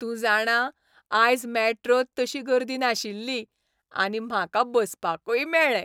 तूं जाणा ,आयज मॅट्रोंत तशी गर्दी नाशिल्ली, आनी म्हाका बसपाकूय मेळ्ळें.